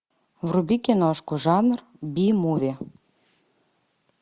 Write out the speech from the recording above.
вруби киношку жанр би муви